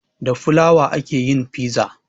Da fulawa ake yin fiza